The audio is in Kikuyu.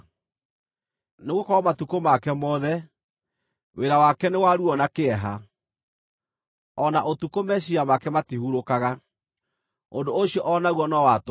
Nĩgũkorwo matukũ make mothe, wĩra wake nĩ wa ruo na kĩeha; o na ũtukũ, meciiria make matihurũkaga. Ũndũ ũcio o naguo no wa tũhũ.